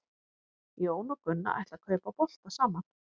Jón og Gunna ætla að kaupa bolta saman.